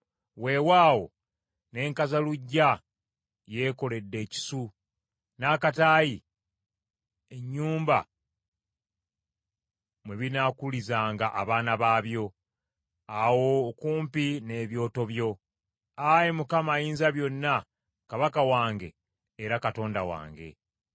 Weewaawo, ne nkazaluggya yeekoledde ekisu, n’akataayi ennyumba mwe binaakulizanga abaana baabyo awo okumpi n’Ebyoto byo, Ayi Mukama Ayinzabyonna, Kabaka wange, era Katonda wange.